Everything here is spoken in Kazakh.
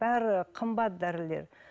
бәрі қымбат дәрілер